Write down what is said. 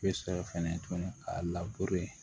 Bɛ sɔrɔ fɛnɛ tuguni k'a